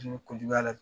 ko juguya la